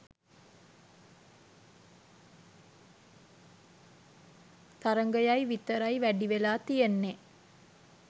තරගයයි විතරයි වැඩිවෙලා තියෙන්නේ.